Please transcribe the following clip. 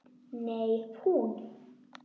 Nei, hún.